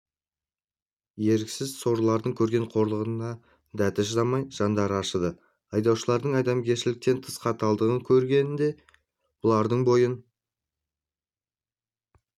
еріксіз сорлылардың көрген қорлығына дәті шыдамай жандары ашыды айдаушылардың адамгершіліктен тыс қаталдығын көргенде бұлардың бойын